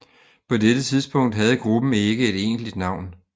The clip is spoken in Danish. På dette tidspunkt havde gruppen ikke et egentligt navn